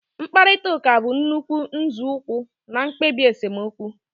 Mkparịta ụka bụ nnukwu nzọụkwụ na mkpebi esemokwu